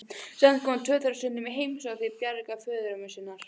Samt komu tvö þeirra stundum í heimsókn til Bjargar, föðurömmu sinnar.